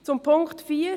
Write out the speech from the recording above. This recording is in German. Zum Punkt 4: